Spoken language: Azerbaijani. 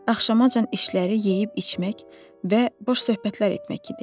Axşamacan işləri yeyib-içmək və boş söhbətlər etmək idi.